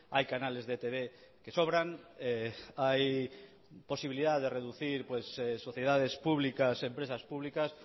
hay canales de etb que sobran hay posibilidad de reducir sociedades públicas empresas públicas